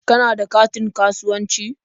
Kana da katin kasuwanci?